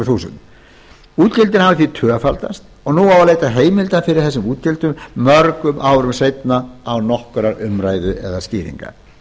króna útgjöldin hafa því tvöfaldast og nú á að leita heimilda fyrir þessum útgjöldum mörgum árum seinna án nokkurrar umræðu né skýringa